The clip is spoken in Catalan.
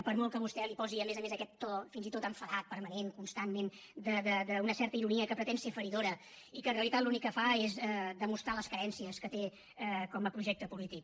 per molt que vostè hi posi a més a més aquest to fins i tot enfadat permanent constantment d’una certa ironia que pretén ser feridora i que en realitat l’únic que fa és demostrar les carències que té com a projecte polític